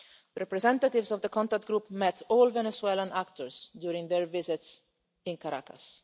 Representatives of the Contact Group met all Venezuelan actors during their visits to Caracas.